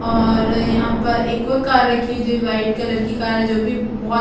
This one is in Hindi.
और यहाँ पर एक और कार रखी है जो वाइट कलर की कार है जो भी बहुत--